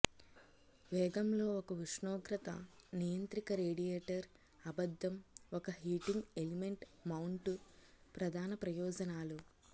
వేగం లో ఒక ఉష్ణోగ్రత నియంత్రిక రేడియేటర్ అబద్ధం ఒక హీటింగ్ ఎలిమెంట్ మౌంటు ప్రధాన ప్రయోజనాలు